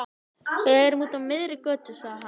Við erum úti á miðri götu, sagði hann.